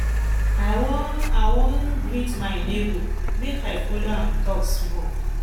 i wan i wan greet my nebor make i folo am tok small